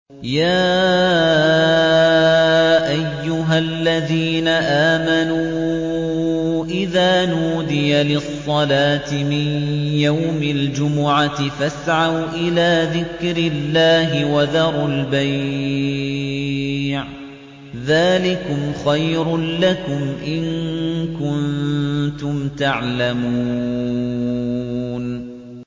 يَا أَيُّهَا الَّذِينَ آمَنُوا إِذَا نُودِيَ لِلصَّلَاةِ مِن يَوْمِ الْجُمُعَةِ فَاسْعَوْا إِلَىٰ ذِكْرِ اللَّهِ وَذَرُوا الْبَيْعَ ۚ ذَٰلِكُمْ خَيْرٌ لَّكُمْ إِن كُنتُمْ تَعْلَمُونَ